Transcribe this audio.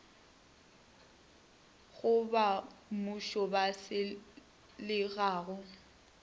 go bammušo wa selega go